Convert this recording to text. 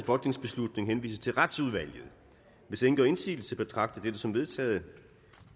folketingsbeslutning henvises til retsudvalget hvis ingen gør indsigelse betragter jeg dette som vedtaget